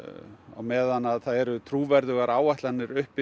á meðan það eru trúverðugar áætlanir uppi